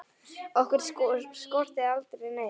Okkur skorti aldrei neitt.